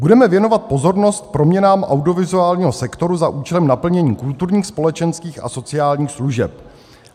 Budeme věnovat pozornost proměnám audiovizuálního sektoru za účelem naplnění kulturních, společenských a sociálních služeb.